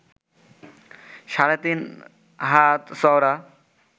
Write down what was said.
সাড়ে-তিন হাত চওড়া